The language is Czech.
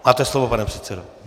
Máte slovo, pane předsedo.